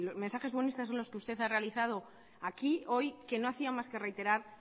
mensajes buenistas son los que usted ha realizado aquí hoy que no hacía más reiterar